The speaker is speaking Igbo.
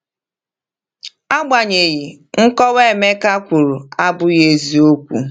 Agbanyeghị, nkọwa Emeka kwuru abụghị eziokwu.